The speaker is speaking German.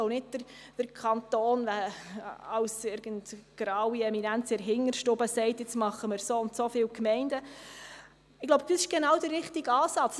Es sollte nicht so sein, dass der Kanton als graue Eminenz in der Hinterstube entscheidet, wie viele Gemeinden es geben soll.